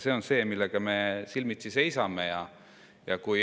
See on see, millega me silmitsi seisame.